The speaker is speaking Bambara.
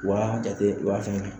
Wa jate wa fɛnɛnin